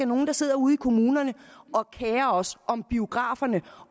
nogen der sidder ude i kommunerne og kerer os om biograferne